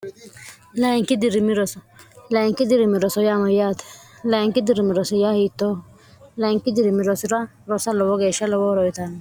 layinki dirimi roso layinki dirimi roso yaamayyaate layinki dirimi rosi ya hiittoho layinki dirimi rosura rosa lowo geeshsha lowo horoyitanno